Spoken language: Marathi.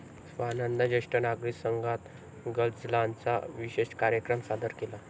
स्वानंद जेष्ठ नागरिक संघात गझलांचा विशेषकार्यक्रम सादर केला.